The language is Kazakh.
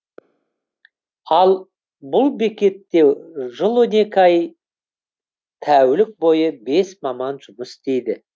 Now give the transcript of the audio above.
ал бұл бекетте жыл он екі ай тәулік бойы бес маман жұмыс істейді